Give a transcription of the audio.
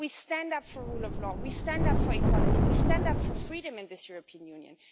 We stand up for the rule of law, we stand up for equality, we stand up for freedom in this European Union.